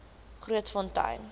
grootfontein